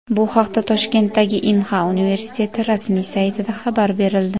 Bu haqda Toshkentdagi Inha universiteti rasmiy saytida xabar berildi .